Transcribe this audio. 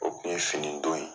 O kun ye finidon ye.